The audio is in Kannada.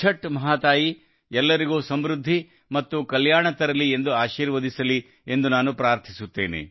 ಛಠ್ ಮಹಾತಾಯಿ ಎಲ್ಲರಿಗೂ ಸಮೃದ್ಧಿ ಮತ್ತು ಕಲ್ಯಾಣವಾಗಲಿ ಎಂದು ಆಶೀರ್ವದಿಸಲಿ ಎಂದು ನಾನು ಪ್ರಾರ್ಥಿಸುತ್ತೇನೆ